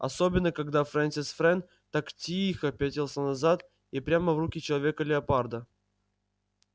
особенно когда фрэнсис фрэн так тихо пятился назад и прямо в руки человека-леопарда